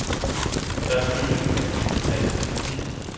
Der er benyttet en ny digital teknik.